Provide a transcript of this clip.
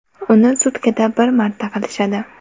Uni sutkada bir marta qilishadi.